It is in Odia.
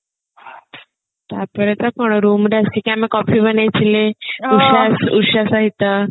ତାପରେ ତ କଣ room ରେ ଆସିକି ଆମେ coffee ବନେଇଥିଲେ ଉଷା ଉଷା ସହିତ